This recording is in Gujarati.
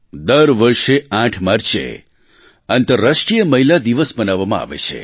દર વર્ષે 8 માર્ચે આંતરરાષ્ટ્રીય મહિલા દિવસ મનાવવામાં આવે છે